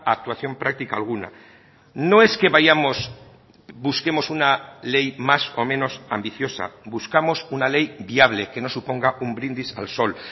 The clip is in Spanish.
a actuación práctica alguna no es que vayamos busquemos una ley más o menos ambiciosa buscamos una ley viable que no suponga un brindis al sol